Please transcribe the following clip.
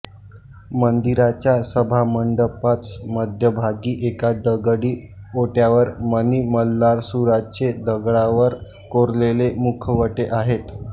मंदीराच्या सभामंडपात मध्यभागी एका दगडी ओट्यावर मणी मल्लासुराचे दगडावर कोरलेले मुखवटे आहेत